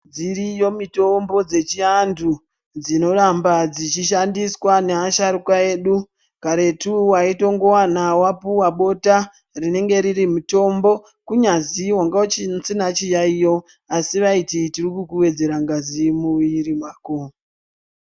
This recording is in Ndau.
Dziriyo mitombo dzechiantu dzinoramba dzechishandiswa ngeasharuka edu karetu waitowana wapuwa bota rinenge riri mutombo kunyazi wainga usina chiyaiyo asi vaiti tiri kukuwedzera ngazi mumwiri mako.